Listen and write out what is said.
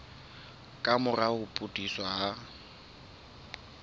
ka mora ho pudutsa ha